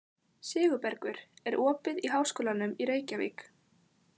Sigurbergur, er opið í Háskólanum í Reykjavík?